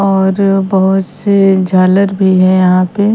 और बहुत से झालर भी है यहां पे।